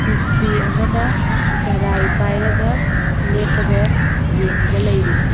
ꯃꯤꯁꯇ꯭ꯔꯤ ꯑꯃꯅ ꯒꯔꯥꯏ ꯄꯥꯏꯔꯒ ꯂꯦꯞꯄꯒ ꯌꯦꯡꯉꯒ ꯂꯩꯔꯤ꯫